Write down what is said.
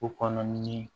O kɔnɔ ni